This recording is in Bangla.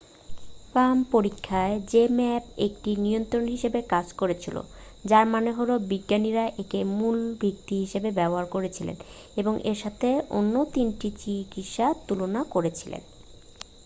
palm পরীক্ষায় zmapp একটি নিয়ন্ত্রক হিসাবে কাজ করেছিল যার মানে হলো বিজ্ঞানীরা একে মূল ভিত্তি হিসেবে ব্যবহার করেছিলেন এবং এর সাথে অন্য তিনটি চিকিৎসার তুলনা করেছিলেন